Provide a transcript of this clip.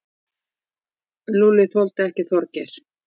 Lúlli þoldi ekki Þorgeir.